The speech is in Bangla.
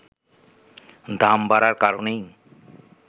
দাম বাড়ার কারণেই